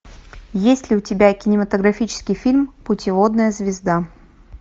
есть ли у тебя кинематографический фильм путеводная звезда